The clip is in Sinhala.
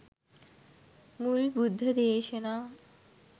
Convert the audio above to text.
මුල් බුද්ධ දේශනා